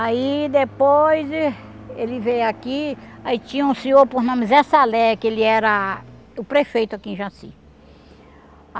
Aí depois, ele veio aqui, aí tinha um senhor por nome Zé Salé, que ele era o prefeito aqui em Jaci.